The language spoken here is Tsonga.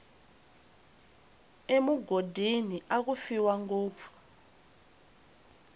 emugodini aku fiwa ngopfu